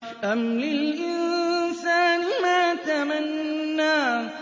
أَمْ لِلْإِنسَانِ مَا تَمَنَّىٰ